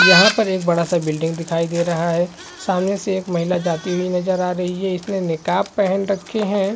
यहाँ पर एक बड़ा सा बिल्डिंग दिखाई दे रहा है सामने से एक महिला जाती हुई नज़र आ रही है इसने नकाप पहन रखे है।